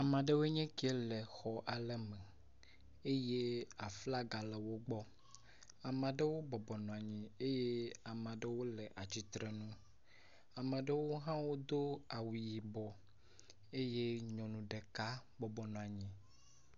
Ama ɖewo nye kie le xɔ ale me eye aflaga le wo gbɔ. Ama ɖewo bɔbɔnɔa nyi eye ama ɖewo le atsitre nu, ama ɖewo hã wodo awu yibɔ eye nyɔnu ɖeka bɔbɔnɔa nyi.